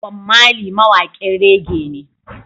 Bom Marley mawaƙin reggae ne